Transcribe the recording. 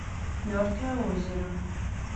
мертвое озеро